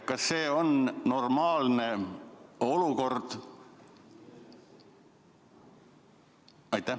Kas see on normaalne olukord?